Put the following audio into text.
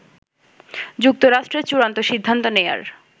যুক্তরাষ্ট্রের চূড়ান্ত সিদ্ধান্ত নেয়ার